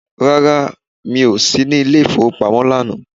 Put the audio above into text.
Rárá, mi o sí ní ilẹ ìfowópamọ́ lánàá